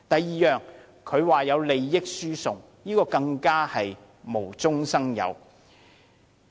此外，他說有利益輸送，這更是無中生有。